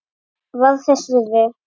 Var þess virði!